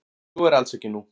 Svo er alls ekki nú.